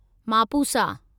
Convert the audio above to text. Mapusa